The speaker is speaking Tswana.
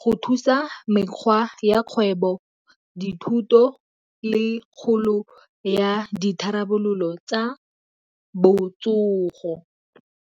go thusa mekgwa ya kgwebo, dithuto le kgolo ya ditharabololo tsa botsogo.